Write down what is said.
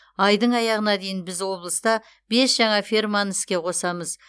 айдың аяғына дейін біз облыста бес жаңа ферманы іске қосамыз